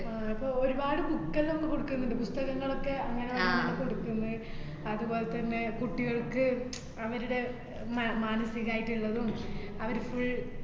ആഹ് അപ്പോ ഒരുപാട് book എല്ലോ കൊടുക്കുന്ന്ണ്ട്, പുസ്തകങ്ങൾ ഒക്കെ അങ്ങനെ അങ്ങനെ കൊടുക്കുന്നു അത് പോലെ തന്നെ കുട്ടികൾക്ക് അവരുടെ ആഹ് മ~ മാനസികായിട്ട്ള്ളതും അവര് full